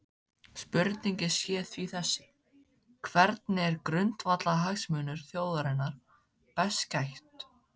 Spurningin sé því þessi: Hvernig er grundvallarhagsmunum þjóðarinnar best gætt?